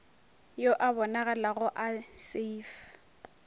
yo a bonagalago a safe